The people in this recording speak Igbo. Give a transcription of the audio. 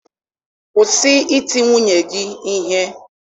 Kwụsị iti nwunye gị ihe!